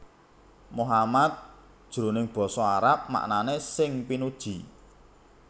Muhammad jroning basa Arab maknané sing pinuji